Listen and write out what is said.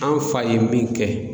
An fa ye min kɛ